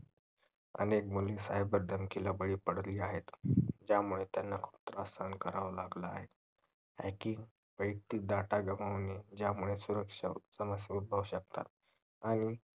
अनेक मुली cyber च्या बळी पडली आहेत त्यामुळे त्यांना त्रास सहन करावा लागला आहे hacking वायक्तिक data गमवणे ज्यामुळे समस्या ऊदभाऊ शकतात आणि